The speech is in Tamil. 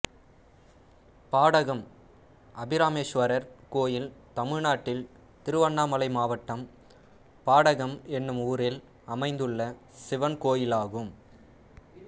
பாடகம் அபிராமேஸ்வரர் கோயில் தமிழ்நாட்டில் திருவண்ணாமலை மாவட்டம் பாடகம் என்னும் ஊரில் அமைந்துள்ள சிவன் கோயிலாகும்